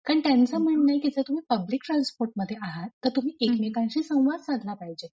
कारण त्यांचं म्हणणं आहे जर तुम्ही पब्लिक ट्रान्सपोर्ट मध्ये आहात तर तुम्ही एकमेकांशी संवाद साधला पाहिजे.